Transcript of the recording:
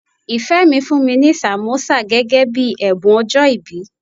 Ìfẹ́ mi fún mi ní sàmósà gẹ́gẹ́ bíi ẹ̀bùn ọjọ́ìbí.